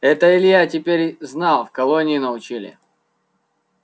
это илья теперь знал в колонии научили